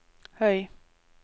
høy